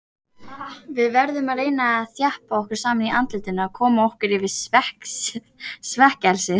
Við verðum að reyna að þjappa okkur saman í andlitinu og koma okkur yfir svekkelsið.